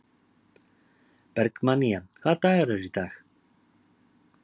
Bergmannía, hvaða dagur er í dag?